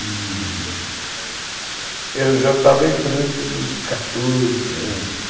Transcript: E, você tinha já eu já estava entrando nos quatorze anos.